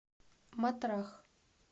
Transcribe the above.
матрах